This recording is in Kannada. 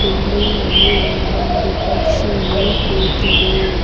ಬಿಲ್ಡಿಂಗ್ ನ ಮೇಲೆ ಒಂದು ಪಕ್ಷಿಯು ಕೂತಿದೆ.